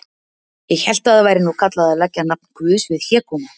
Ég hélt að það væri nú kallað að leggja nafn Guðs við hégóma.